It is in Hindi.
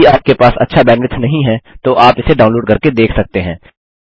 यदि आपके पास अच्छा बैंडविड्थ नहीं है तो आप इसे डाउनलोड करके देख सकते हैं